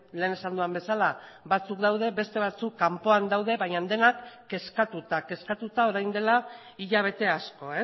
lehen esan dudan bezala batzuk daude beste batzuk kanpoan daude baina denak kezkatuta kezkatuta orain dela hilabete asko